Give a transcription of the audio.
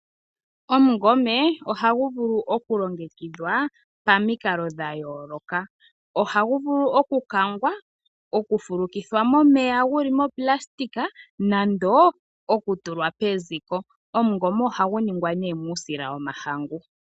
Omungome ohagu vulu okulongekidhwa pamikalo dhayooloka, ohagu vulu okukangwa, okufulukithwa momeya guli monayilona noshowo okutulwa peziko. Omungome ohagu ningwa nee muusila womahangu.